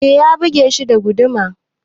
Ee ya buge shi da guduma.